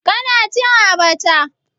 Kana cin abacha?